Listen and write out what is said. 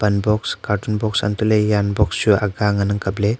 pan box cartoon box antoh ley jan box chu aga ngan ang kapley.